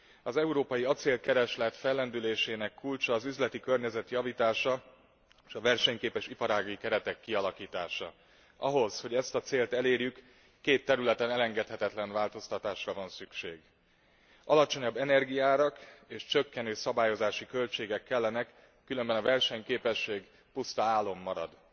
Az európai acélkereslet fellendülésének kulcsa az üzleti környezet javítása, és versenyképes iparági keretek kialakítása. Ahhoz, hogy ezt a célt elérjük, két területen elengedhetetlen változtatásra van szükség alacsonyabb energiaárak és csökkenő szabályozási költségek kellenek, különben a versenyképesség puszta álom marad.